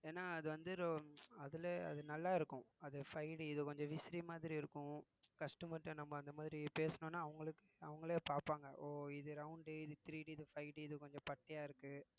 ஏன்னா அது வந்து ரொ~ அதுல அது நல்லா இருக்கும் அது five D இது கொஞ்சம் விசிறி மாதிரி இருக்கும் customer ட்ட நம்ம அந்த மாதிரி பேசினோம்னா அவங்களுக்கு அவங்களே பார்ப்பாங்க ஓ இது round இது 3D இது five D இது கொஞ்சம் பட்டையா இருக்கு